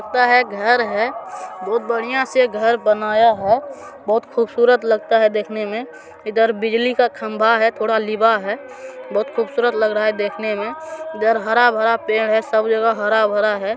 लगता हैं घर है बहुत बढ़िया से घर बनाया है | बहुत खूबसूरत लगता है देखने मे | इधर बिजली का खंबा है थोड़ा लिबा हैं | बहुत खूबसूरत लग रहा है देखने में | इधर हारा भरा पेड़ है सब जगह हरा भरा है।